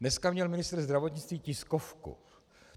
Dnes měl ministr zdravotnictví tiskovku.